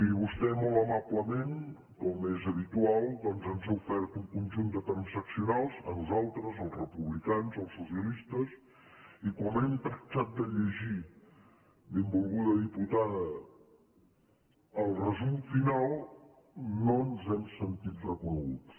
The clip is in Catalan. i vostè molt amablement com és habitual doncs ens ha ofert un conjunt de transaccio·nals a nosaltres als republicans als socialistes i quan hem tractat de llegir benvolguda diputada el resum final no ens hem sentit reconeguts